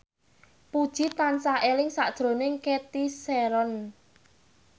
Puji tansah eling sakjroning Cathy Sharon